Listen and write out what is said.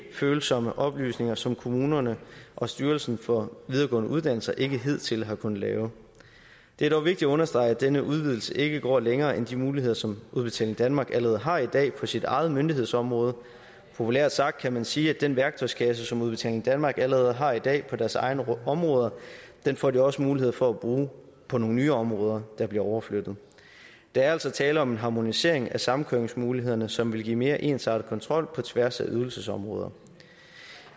ikkefølsomme oplysninger som kommunerne og styrelsen for videregående uddannelser ikke hidtil har kunnet lave det er dog vigtigt at understrege at denne udvidelse ikke går længere end de muligheder som udbetaling danmark allerede har i dag på sit eget myndighedsområde populært sagt kan man sige at den værktøjskasse som udbetaling danmark allerede har i dag på deres egne områder får de også mulighed for at bruge på nogle nye områder der bliver overflyttet der er altså tale om en harmonisering af samkøringsmulighederne som vil give mere ensartet kontrol på tværs af ydelsesområder